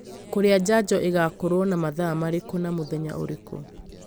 Kũrĩa njanjo ĩgaakorũo na mathaa marĩkũ na mũthenya ũrĩkũ